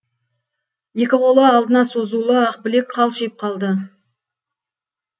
екі қолы алдына созулы ақбілек қалшиып калды